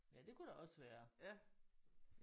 Ja det kunne det også være